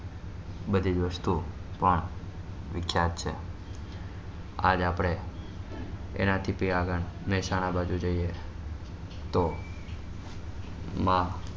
બધી દોસ્તો પણ વિખ્યાત છે આજ આપને એના થી આગળ મહેસાણા બાજુ જઈ તો